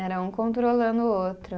Era um controlando o outro.